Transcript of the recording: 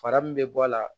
Fara min bɛ bɔ a la